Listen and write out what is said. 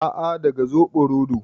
A'a, daga zoɓo rodo